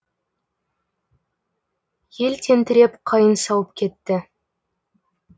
ел тентіреп қайың сауып кетті